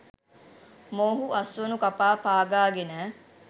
මොවුහු අස්වනු කපා පාගා ගෙන